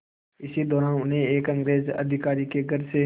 इसी दौरान उन्हें एक अंग्रेज़ अधिकारी के घर से